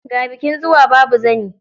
Ga bikin zuwa, babu zani.